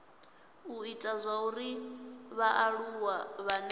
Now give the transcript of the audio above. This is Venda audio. u ita zwauri vhaaluwa vhane